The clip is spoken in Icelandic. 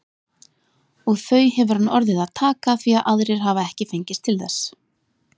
Og þau hefur hann orðið að taka því að aðrir hafa ekki fengist til þess.